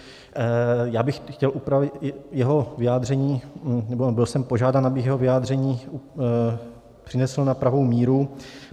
Já bych chtěl upravit jeho vyjádření nebo byl jsem požádán, abych jeho vyjádření přinesl na pravou míru.